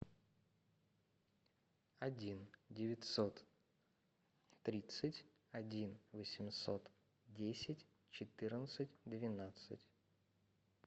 один девятьсот тридцать один восемьсот десять четырнадцать двенадцать